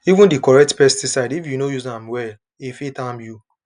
even the correct pesticide if you no use am well e fit harm you